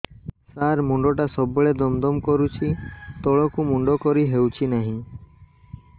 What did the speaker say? ସାର ମୁଣ୍ଡ ଟା ସବୁ ବେଳେ ଦମ ଦମ କରୁଛି ତଳକୁ ମୁଣ୍ଡ କରି ହେଉଛି ନାହିଁ